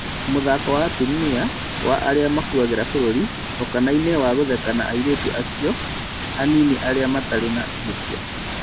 Mũthako wa "atumia arĩa makuagĩra bũrũri" okanainĩ na gũtheka na airĩtu acio anini arĩa matarĩ na ihĩtia